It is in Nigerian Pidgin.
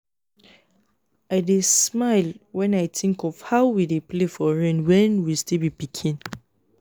i dey smile when i think of how we dey play for rain when we still be pikin